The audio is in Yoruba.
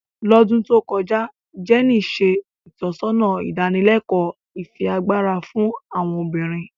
Lodun to kọja, Jenny ṣe itọsọna idanileko ifiagbara fun awọn obinrin.